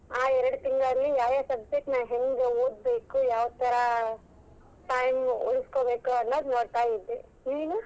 ಆ ಎರಡ್ ತಿಂಗಳಲ್ಲಿ ಯಾ ಯಾ subject ನಾ ಹೆಂಗ್ ಓದಬೇಕು, ಯಾವ ತರಾ time ಉಳಿಸ್ಕೊಬೇಕು ಅನ್ನೊದ್ ನೋಡ್ತಾ ಇದ್ದೆ, ನೀನು?